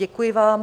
Děkuji vám.